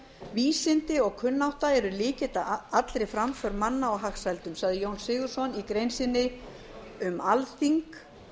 vísindi og kunnátta eru lykill að allri framför manna og hagsældum sagði jón sigurðsson í grein sinni um alþíng